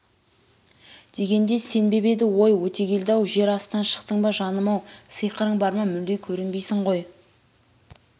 дегенде сенбеп еді өй өтегелді-ау жер астынан шықтың ба жаным-ау сиқырың бар ма мүлде көрінбейсің ғой